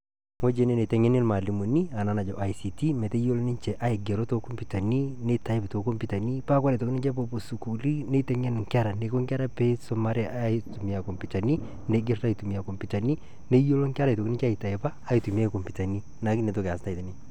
wueji ene niteng'eni ilmalimuni enaa naji ict metayiolo ninje aigero nitype tokompiutani neyiolou ninje wore pepuo sukuluni nitengen inkera eniko pisumare aitumia kompiutani neyiolou inkera aitumia aigero kompiutani